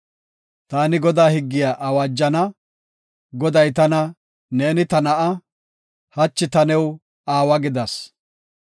Taani Godaa higgiya awaajana; Goday tana, “Neeni ta na7aa; taani hachi new aawa gidas.